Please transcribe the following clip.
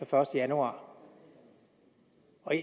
første januar